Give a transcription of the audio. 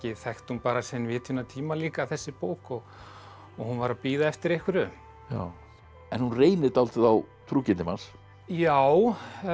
þekkti hún bara sinn vitjunartíma líka þessi bók og hún var að bíða eftir einhverju en hún reynir dálítið á trúgirni manns já